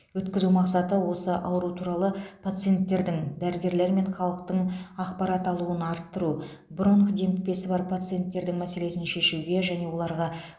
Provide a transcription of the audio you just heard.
өткізу мақсаты осы ауру туралы пациенттердің дәрігерлер мен халықтың ақпарат алуын арттыру бронх демікпесі бар пациенттердің мәселесін шешуге және оларға